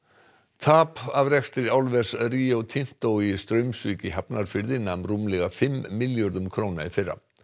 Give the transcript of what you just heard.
tap af rekstri álvers Rio Tinto í Straumsvík í Hafnarfirði nam rúmlega fimm milljörðum króna í fyrra